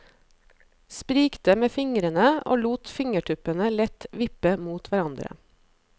Sprikte med fingrene og lot fingertuppene lett vippe mot hverandre.